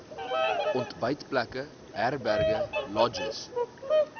ontbytplekke herberge lodges